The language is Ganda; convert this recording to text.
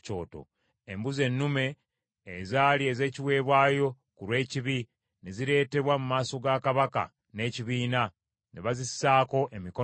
Embuzi ennume ezaali ez’ekiweebwayo ku lw’ekibi ne zireetebwa mu maaso ga kabaka n’ekibiina, ne bazisaako emikono gyabwe,